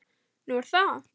Nú er það?